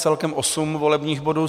Celkem osm volebních bodů.